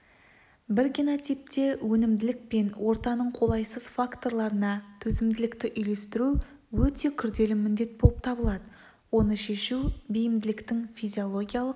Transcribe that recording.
бір генотипте өнімділік пен ортаның қолайсыз факторларына төзімділікті үйлестіру өте күрделі міндет болып табылады оны шешу бейімділіктің физиологиялық